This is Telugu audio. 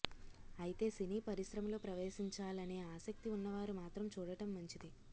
అయితే సినీ పరిశ్రమలో ప్రవేశించాలనే ఆసక్తి ఉన్నవారు మాత్రం చూడటం మంచిది